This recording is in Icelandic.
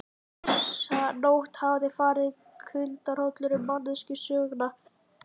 Þessa nótt hafði farið kuldahrollur um mannkynssöguna.